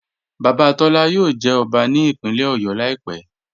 Baba Tọla yóò jẹ́ ọbá ní ìpínlẹ̀ Ọ̀yọ́ laípẹ̀.